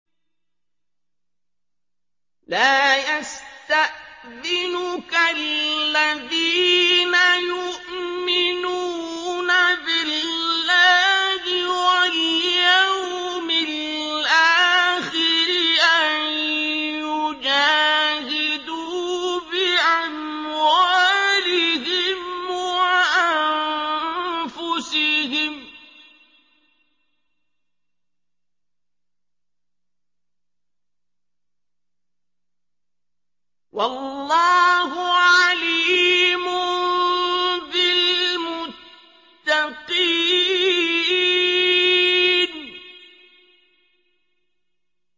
لَا يَسْتَأْذِنُكَ الَّذِينَ يُؤْمِنُونَ بِاللَّهِ وَالْيَوْمِ الْآخِرِ أَن يُجَاهِدُوا بِأَمْوَالِهِمْ وَأَنفُسِهِمْ ۗ وَاللَّهُ عَلِيمٌ بِالْمُتَّقِينَ